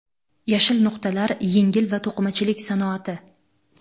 Yashil nuqtalar – yengil va to‘qimachilik sanoati.